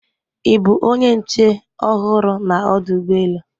Ị bụ onye nche ọhụrụ na ọdụ ụgbọ elu